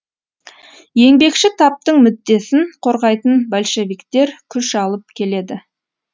еңбекші таптың мүддесін қорғайтын большевиктер күш алып келеді